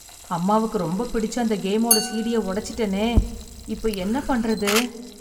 அம்மாவுக்கு ரொம்பப் பிடிச்ச அந்த கேமோட சிடிய உடைச்சிட்டேனே! இப்போ என்ன பண்ணுறது!